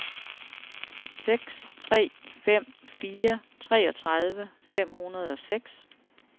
seks tre fem fire treogtredive fem hundrede og seks